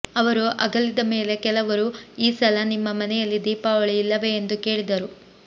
ಅವರು ಅಗಲಿದ ಮೇಲೆ ಕೆಲವರು ಈ ಸಲ ನಿಮ್ಮ ಮನೆಯಲ್ಲಿ ದೀಪಾವಳಿ ಇಲ್ಲವೇ ಎಂದು ಕೇಳಿದರು